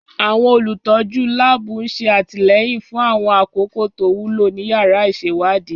Àwọn olùtọ́jú láàbù ń ṣe àtìlẹ́yìn fún àwọn àkókò tó wúlò ní yàrá ìṣèwádìí